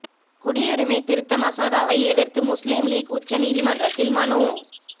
குடியுரிமை திருத்த மசோதாவை எதிர்த்து முஸ்லிம் லீக் உச்ச நீதிமன்றத்தில் மனு